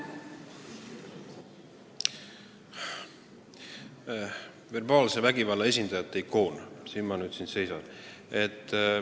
Verbaalse vägivalla esindajate ikoon – siin ma nüüd siis seisan.